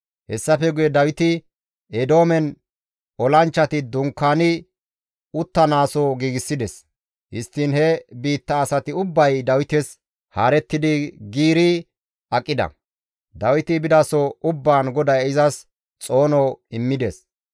Hessafe guye Dawiti Eedoomen olanchchati dunkaani uttanaaso giigsides; histtiin he biitta asati ubbay Dawites haarettidi giiri aqida; Dawiti bidaso ubbaan GODAY izas xoono immides.